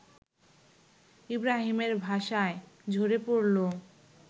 ইব্রাহীমের ভাষায় ঝরে পড়লো